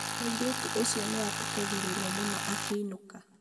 mũirĩtu ũcio nĩatukagĩrĩrwo mũno akĩinũka